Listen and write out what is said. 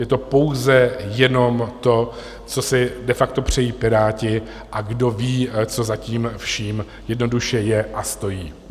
Je to pouze jenom to, co si de facto přejí Piráti, a kdoví, co za tím vším jednoduše je a stojí.